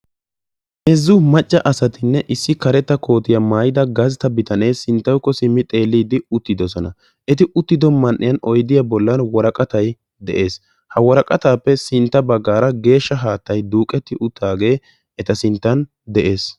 Heezzu maca asattinne issi karetta koottiya maayidda gastta bitane de'ees. Etta matan geeshsha haattay de'ees.